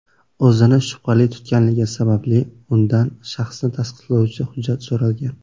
o‘zini shubhali tutganligi sababli undan shaxsini tasdiqlovchi hujjati so‘ralgan.